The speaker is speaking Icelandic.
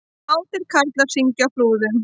Kátir karlar syngja á Flúðum